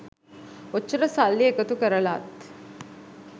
ඔච්චර සල්ලි එකතු කරලත්